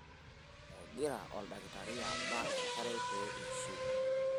egira oldakitari abak enkerai pee ishiu